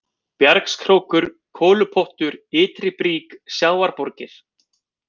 Bjargskrókur, Kolupottur, Ytri-Brík, Sjávarborgir